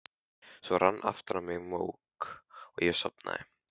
Svo rann aftur á mig mók og ég sofnaði.